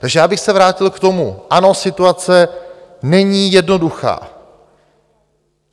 Takže já bych se vrátil k tomu, ano, situace není jednoduchá.